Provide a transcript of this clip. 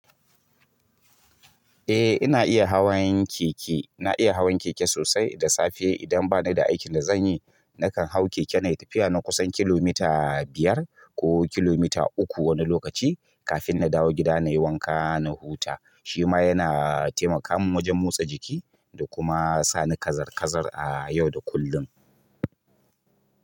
Eh ina iya hawan keke, na iya hawan keke sosai da safe idan bani da aikin da zanyi nakan hau keke na tafiya na kusan kilomita biyar ko kilomita uku wani lokaci kafin na dawo gida na yi wanka na huta. Shi ma yana taimaka min wajen motsa jiki da kuma sani kazar kazar a yau da kullum.